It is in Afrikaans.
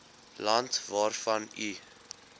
land waarvan u